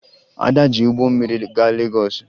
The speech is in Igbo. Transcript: Ada ji ụgbọ mmiri gaa Legọọsụ